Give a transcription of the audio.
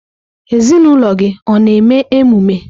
Ezinụlọ gị ọ na-eme emume?